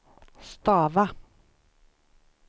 stava